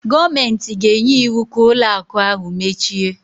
Gọọmentị ga-enye iwu ka ụlọ akụ ahụ mechie